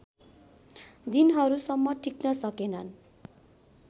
दिनहरूसम्म टिक्न सकेनन्